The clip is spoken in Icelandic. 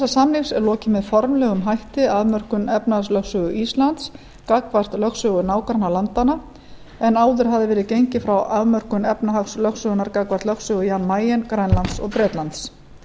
samnings er lokið með formlegum hætti afmörkun efnahagslögsögu íslands gagnvart lögsögu nágrannalandanna en áður hafði verið gengið frá afmörkun efnahagslögsögunnar gagnvart lögsögu jan mayen grænlands og bretlands